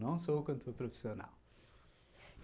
Não sou cantor profissional.